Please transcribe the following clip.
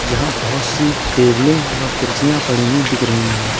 जहां बहुत सी टेबलें व कुर्सियां पड़ी हुई दिख रही है।